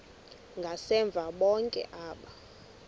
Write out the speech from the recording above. ngasemva bonke aba